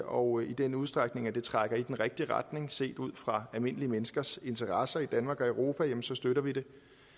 og i den udstrækning det trækker i den rigtige retning set ud fra almindelige menneskers interesser i danmark og i europa støtter vi det